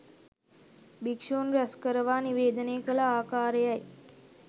භික්‍ෂූන් රැස්කරවා නිවේදනය කළ ආකාරයයි